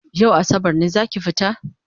Yau asabar ne zaki fita?